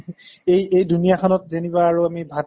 এই এই দুনীয়াখনত যেনিবা আৰু আমি ভাত